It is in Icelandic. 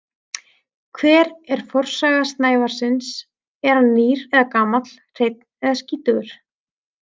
Hver er forsaga snævarins, er hann nýr eða gamall, hreinn eða skítugur?